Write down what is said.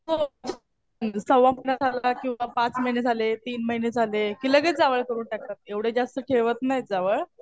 हो. सव्वा महिना झाला किंवा पाच महिने झाले, तीन महिने झाले कि लगेच जावळ करून टाकतात. एवढं जास्त ठेवत नाही जावळ.